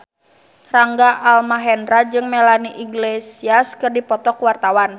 Rangga Almahendra jeung Melanie Iglesias keur dipoto ku wartawan